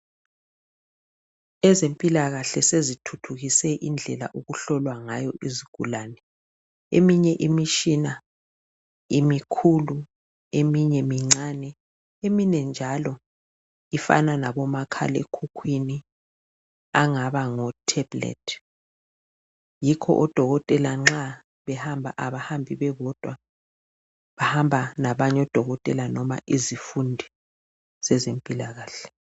Ezempilakahle sezithuthukise indlela okuhlolwa ngayo izigulane. Eminye imitshina imikhulu eminye mincane eminye njalo ifana labomakhalekhukwini angaba ngo tablet, yikho odhokotela nxa behamba kabahambi bebodwa bahamba labanye odhokotela noma izifundi zezempilakahle.